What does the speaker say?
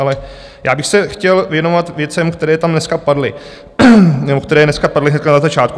Ale já bych se chtěl věnovat věcem, které tam dneska padly, nebo které dneska padly hned na začátku.